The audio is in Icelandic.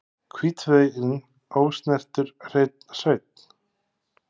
Hvítþveginn, ósnertur hreinn sveinn.